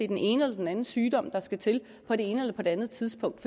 den ene eller den anden sygdom der skal til på det ene eller på det andet tidspunkt